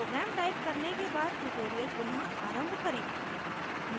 program type करने के बाद tutorial पुनः आरंभ करें